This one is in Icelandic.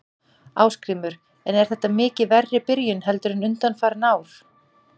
Ásgrímur: En er þetta mikið verri byrjun heldur en undanfarin ár?